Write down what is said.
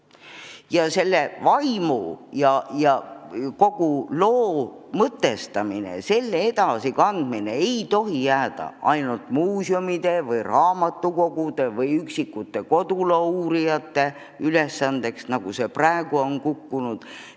Ja selle vaimu ja kogu loo mõtestamise edasikandmine ei tohi jääda ainult muuseumide, raamatukogude ning üksikute koduloouurijate ülesandeks, nagu see praegu on välja kukkunud.